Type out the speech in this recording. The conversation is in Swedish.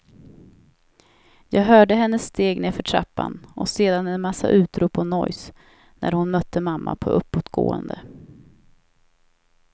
Jag hörde hennes steg nerför trappan och sedan en massa utrop och nojs, när hon mötte mamma på uppåtgående.